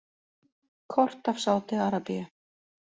Kort af Sádi-Arabíu.